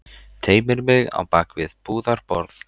Teymir mig á bak við búðarborð.